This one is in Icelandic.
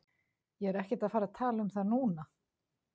Ég er ekkert að fara að tala um það núna.